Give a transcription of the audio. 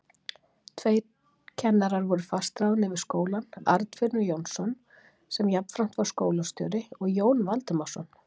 Tveir kennarar voru fastráðnir við skólann, Arnfinnur Jónsson, sem jafnframt var skólastjóri, og Jón Valdimarsson.